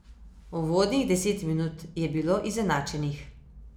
Uvodnih deset minut je bilo izenačenih.